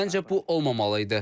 Məncə bu olmamalı idi.